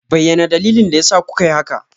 Bayyana dalilin da yasa kuka yi haka!